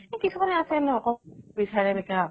কিছুমানে আছে ন বিচাৰে